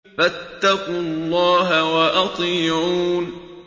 فَاتَّقُوا اللَّهَ وَأَطِيعُونِ